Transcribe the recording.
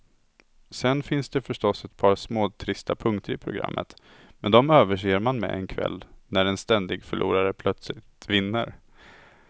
Sen finns det förstås ett par småtrista punkter i programmet, men de överser man med en kväll när en ständig förlorare plötsligt vinner.